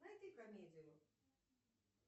найди комедию